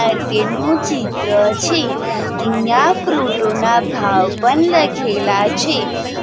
ચિત્ર છે અહિયા ફ્રુટોના ભાવ પણ લખેલા છે.